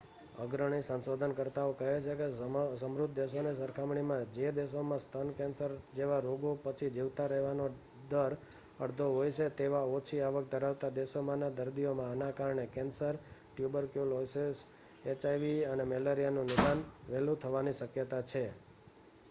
અગ્રણી સંશોધનકર્તાઓ કહે છે કે સમૃદ્ધ દેશોની સરખામણીમાં જે દેશોમાં સ્તન કેન્સર જેવા રોગો પછી જીવતા રહેવાનો દર અડધો હોય છે તેવા ઓછી આવક ધરાવતા દેશોમાંના દર્દીઓમાં આના કારણે કેન્સર ટ્યુબરક્યુલોસિસ એચઆઇવી અને મેલેરિયાનું નિદાન વહેલું થવાની શક્યતા છે